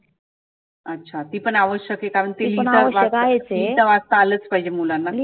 अच्छा अच्छा ती पण आवश्यक आहे करण की ती लिहीता वाचता आलच पाहिजे मुलांना.